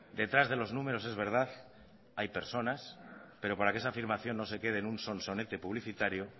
detrás de los números es verdad hay personas pero para que esa afirmación no se quede en un sonsonete publicitario